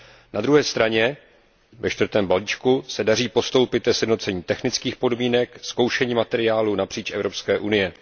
Na druhé straně ve čtvrtém balíčku se daří postoupit ke sjednocení technických podmínek zkoušení materiálu napříč Evropskou unií.